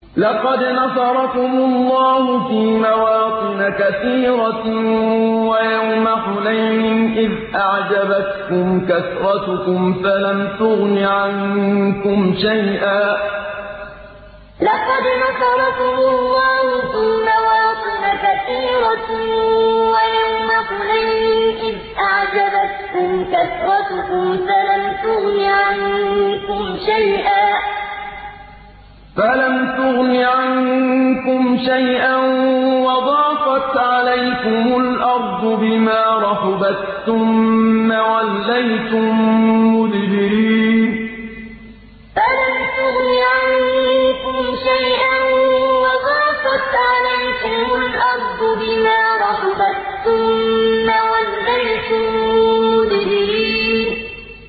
لَقَدْ نَصَرَكُمُ اللَّهُ فِي مَوَاطِنَ كَثِيرَةٍ ۙ وَيَوْمَ حُنَيْنٍ ۙ إِذْ أَعْجَبَتْكُمْ كَثْرَتُكُمْ فَلَمْ تُغْنِ عَنكُمْ شَيْئًا وَضَاقَتْ عَلَيْكُمُ الْأَرْضُ بِمَا رَحُبَتْ ثُمَّ وَلَّيْتُم مُّدْبِرِينَ لَقَدْ نَصَرَكُمُ اللَّهُ فِي مَوَاطِنَ كَثِيرَةٍ ۙ وَيَوْمَ حُنَيْنٍ ۙ إِذْ أَعْجَبَتْكُمْ كَثْرَتُكُمْ فَلَمْ تُغْنِ عَنكُمْ شَيْئًا وَضَاقَتْ عَلَيْكُمُ الْأَرْضُ بِمَا رَحُبَتْ ثُمَّ وَلَّيْتُم مُّدْبِرِينَ